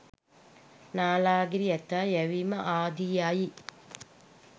නාලාගිරි ඇතා යැවීම ආදියයි.